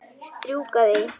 Strjúka því.